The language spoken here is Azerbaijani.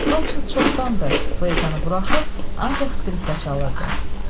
Rodşild çoxdandır fleytanı buraxıb, ancaq skripka çalırdı.